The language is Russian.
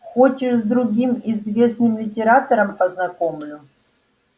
хочешь с другим известным литератором познакомлю